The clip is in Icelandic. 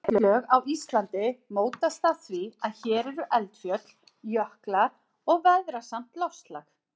Setlög á Íslandi mótast af því að hér eru eldfjöll, jöklar og veðrasamt loftslag.